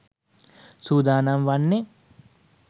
සූදානම් වන්නේ.